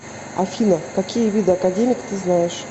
афина какие виды академик ты знаешь